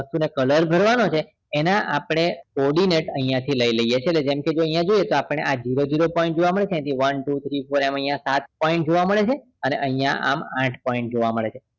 Colour ભરવાનો છે odinet આપણે આ zero zero point જોવા મળે છે one two three four એમ અહિયાં સાત point જોવા મળે છે અને અહિયા આમ આઠ point જોવા મળે છે